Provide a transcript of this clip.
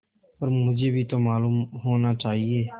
पर मुझे भी तो मालूम होना चाहिए